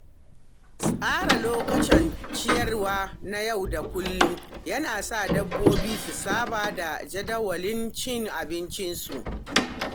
Tsara lokutan ciyarwa na yau da kullum yana sa dabbobi su saba da jadawalin cin abincinsu.